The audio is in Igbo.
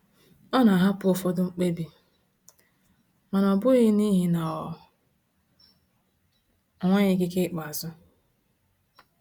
Ọ na-ahapụ ụfọdụ mkpebi, mana ọ bụghị n’ihi na ọ nweghị ikike ikpeazụ.